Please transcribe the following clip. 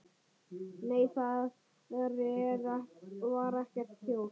Nei, þar var ekkert hjól.